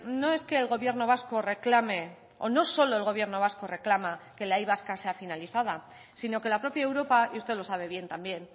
no es que el gobierno vasco reclame o no solo el gobierno vasco reclama que la y vasca sea finalizada sino que la propia europa y usted lo sabe bien también